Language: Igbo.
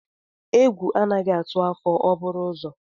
Egwu anaghị atụ afọ o buru ụzọ.